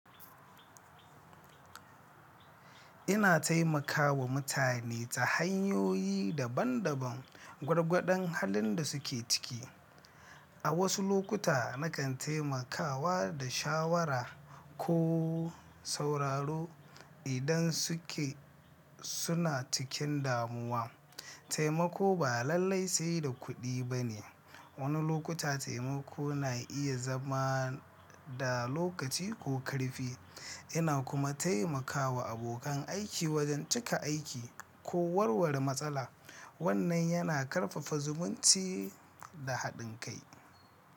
Ina taimakawa mutane ta hanyoyi daban-daban, gwargwadon halin da suke ciki. A wasu lokuta na kan taimakawa da shawara ko sauraro idan suke suna cikin damuwa. Taimako ba lallai sai da kuɗi ba ne; wani lokuta taimako na iya zama da lokaci ko ƙarfi. Ina kuma taimakawa abokan aiki wajen cika aiki ko warware matsala. Wannan yana ƙarfafa zumunci da haɗin kai.